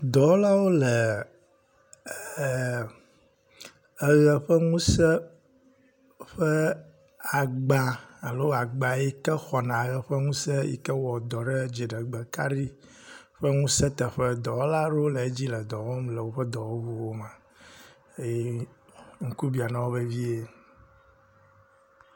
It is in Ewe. Dɔwɔlawo le ee eʋe ƒe ŋusẽ, ƒe agba alo agba yike xɔna ʋe ƒe ŋusẽ yike wɔ dɔ ɖe dziɖegbe kaɖi ƒe ŋusẽ teƒe le woƒe dɔwɔwuwo me. Eye ŋku bia na wo vevie.